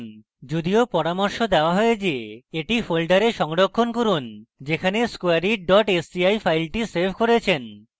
যদিও পরামর্শ দেওয়া হয় যে এটি folder সংরক্ষণ করুন যেখানে squareit sci file save করেছেন